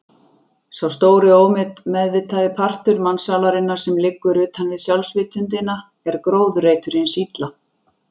Sá stóri og ómeðvitaði partur mannssálarinnar sem liggur utanvið sjálfsvitundina er gróðurreitur hins illa.